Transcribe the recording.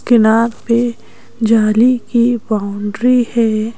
Canal पे जाली की बाउंड्री है।